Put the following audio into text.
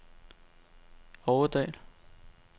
Aurdal